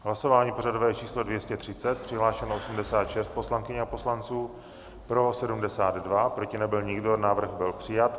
Hlasování pořadové číslo 230, přihlášeno 86 poslankyň a poslanců, pro 72, proti nebyl nikdo, návrh byl přijat.